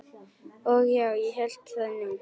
Og já, ég hélt það nú.